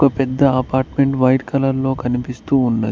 పెద్ద apartment white colour లో కనిపిస్తూ ఉన్నది.